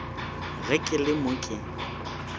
ge ke le mo ke